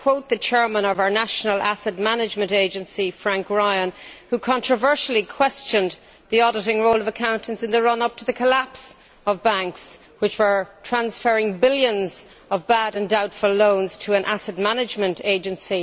I quote the chairman of our National Asset Management Agency, Frank Ryan, who controversially questioned the auditing role of accountants in the run up to the collapse of banks which were transferring billions of bad and doubtful loans to an asset management agency.